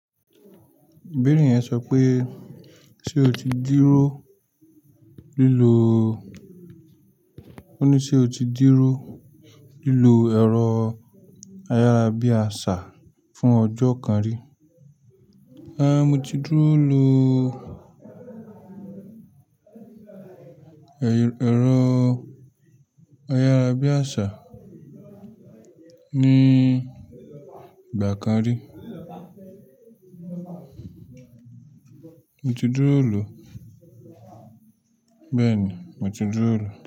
Bìnrin yẹn sọ pé ṣe o ti dúró lílo, ó ní ṣe o ti dúró lílo ẹ̀rọ ayárabíàṣá fún ọjọ́ kan rí? Rárá, mo ti dúró lò ẹ̀rọ ayárabíàṣá ní ìgbà kan rí. Mo ti dúró lò, bẹ́ẹ̀ni mo ti dúró lò.